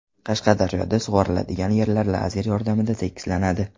Qashqadaryoda sug‘oriladigan yerlar lazer yordamida tekislanadi.